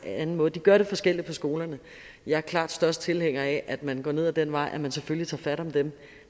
anden måde de gør det forskelligt på skolerne jeg er klart størst tilhænger af at man går ned ad den vej at man selvfølgelig tager fat om dem